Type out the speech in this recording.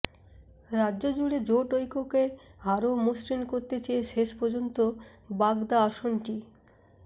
রাজ্য জুড়ে জোট ঐক্যকে আরও মসৃণ করতে চেয়ে শেষ পর্যন্ত বাগদা আসনটি